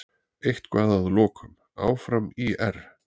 Eitthvað að lokum: Áfram ÍR!!